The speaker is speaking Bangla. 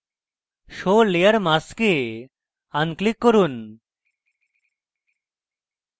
show layer mask এ unclick করুন